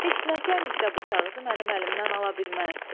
Heç nəçənikdə bu kağızı mənim əlimdən ala bilməz.